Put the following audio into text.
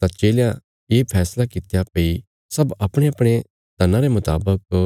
तां चेलयां ये फैसला कित्या भई सब अपणेअपणे धना रे मुतावक